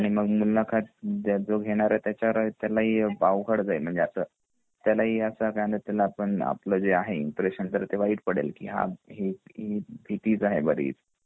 आणि मग जो मुलाखत जो घेणार आहे तर त्याला ही अवघड जाईल म्हणजे असा त्याला आपण आपला जे आहे इम्प्रेशन ते वाईट पडेल की हा ही भीतीत आहे बरीच